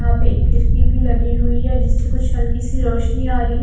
यहां पे एक खिड़की भी लगी हुई है जिससे कुछ हल्की सी रोशनी आ रही है।